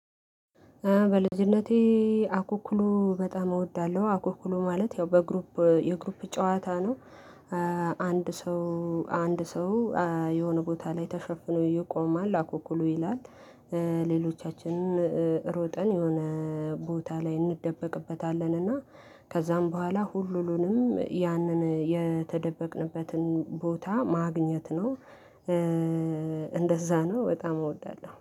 በልጅነቴ አኩኩሉ በጣም እወዳለሁ አኩኩሉ ማለት ያው በግሩፕ የግሩፕ ጨዋታ ነው። አንድ ሰው አንድ ሰው የሆነ ቦታ ላይ ተሸፍኖ ይቆማል አኩኩሉ ይላል። ሌሎቻችንን ሮጠን የሆነ ቦታ ላይ እንደበቅበታለን እና ከዛም በኋላ ሁሉንም ያንን የተደበቅንበትን ቦታ ማግኘት ነው። እንደዛ ነው በጣም እወዳለሁ